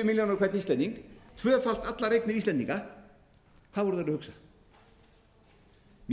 á hvern íslending tvöfalt allar eignir íslendinga hvað voru þeir að hugsa